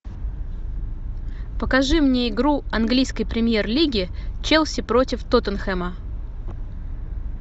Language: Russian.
покажи мне игру английской премьер лиги челси против тоттенхэма